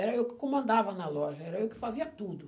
Era eu que comandava na loja, era eu que fazia tudo.